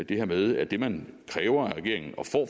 det her med at det man kræver af regeringen